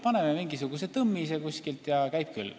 Paneme mingisuguse tõmmise ja käib küll.